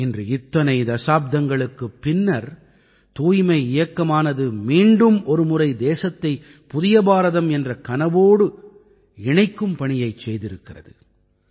இன்று இத்தனை தசாப்தங்களுக்குப் பின்னர் தூய்மை இயக்கமானது மீண்டும் ஒருமுறை புதிய பாரதம் என்ற கனவோடு தேசத்தை இணைக்கும் பணியைச் செய்திருக்கிறது